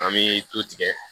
An bɛ du tigɛ